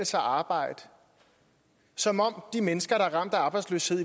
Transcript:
sig at arbejde som om de mennesker der er ramt af arbejdsløshed